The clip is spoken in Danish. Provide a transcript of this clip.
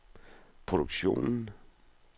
produktionen